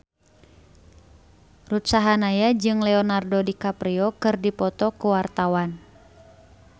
Ruth Sahanaya jeung Leonardo DiCaprio keur dipoto ku wartawan